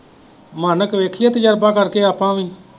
ਮੈਂ ਕਿਹਾ ਦੇਖ ਲਈਏ ਤਜਰਬਾ ਕਰਕੇ ਆਪਾਂ ਵੀ।